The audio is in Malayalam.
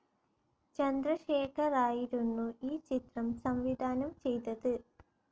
ചന്ദ്രശേഖറായിരുന്നു ഈ ചിത്രം സംവിധാനം ചെയ്തത്.